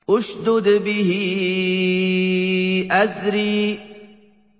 اشْدُدْ بِهِ أَزْرِي